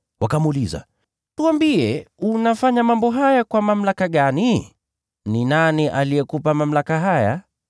Wakamuuliza, “Tuambie, unafanya mambo haya kwa mamlaka gani? Ni nani aliyekupa mamlaka haya?”